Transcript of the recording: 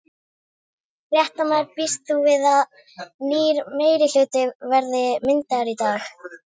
Fréttamaður: Býst þú við að nýr meirihluti verði myndaður í dag?